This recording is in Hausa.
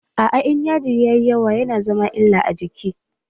Aa, In yaji ya yi yawa ya na zama illa a jiki.